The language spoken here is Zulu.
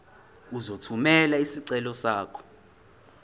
uzothumela isicelo sakho